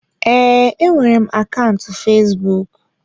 Ee, enwere m akaụntụ fesbụụk.